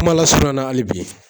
Kuma lasurunya na hali bi